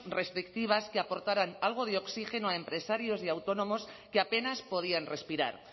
restrictivas que aportaran algo de oxígeno a empresarios y autónomos que apenas podían respirar